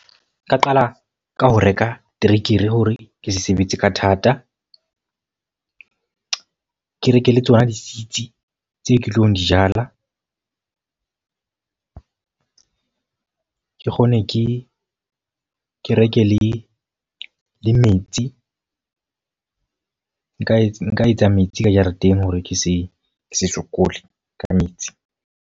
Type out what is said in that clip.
Nka qala ka ho reka terekere hore ke sebetse ka thata. Ke reke le tsona di-seeds tseo ke tlo di jala. Ke kgone ke kereke le le metsi. Nka etsa nka etsa metsi ka jareteng hore ke se ke se sokole ka metsi.